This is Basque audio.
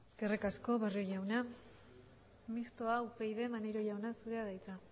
eskerrik asko barrio jauna mistoa upyd maneiro jauna zurea da hitza